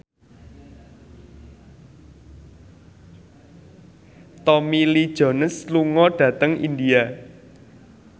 Tommy Lee Jones lunga dhateng India